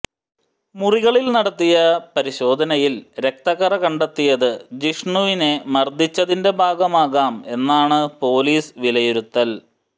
മുറികളിൽ നടത്തിയ പരിശോധനയിൽ രക്തക്കറ കണ്ടെത്തിയത് ജിഷ്ണുവിനെ മർദ്ദിച്ചതിന്റെ ഭാഗമാകാം എന്നാണ് പൊലീസ് വിലയിരുത്തൽ